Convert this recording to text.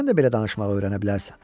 sən də belə danışmağı öyrənə bilərsən.